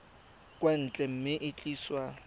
kwa ntle mme e tliswa